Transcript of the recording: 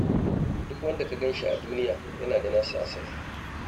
Duk wanda ka gan shi a duniya yana da nasa asalin.